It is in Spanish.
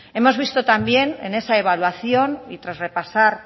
hemos visto también en esa evaluación y tras repasar